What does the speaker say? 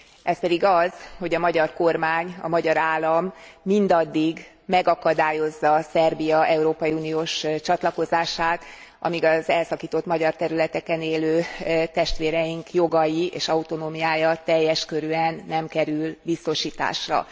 Ez pedig az, hogy a magyar kormány, a magyar állam mindaddig megakadályozza Szerbia európai uniós csatlakozását, amíg az elszakított magyar területeken élő testvéreink jogai és autonómiája teljes körűen nem kerül biztosításra.